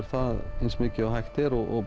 það eins mikið og hægt er og